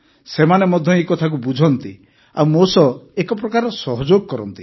ସେମାନେ ମଧ୍ୟ ଏହି କଥାକୁ ବୁଝନ୍ତି ଆଉ ମୋ ସହ ଏକ ପ୍ରକାରର ସହଯୋଗ କରନ୍ତି